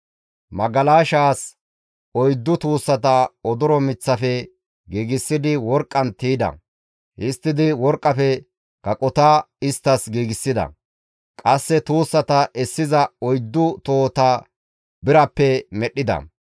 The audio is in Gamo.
Magalashaas oyddu tuussata odoro miththafe giigsidi worqqan tiyda. Histtidi worqqafe kaqota isttas giigsida. Qasse tuussata essiza oyddu tohota birappe medhdhida.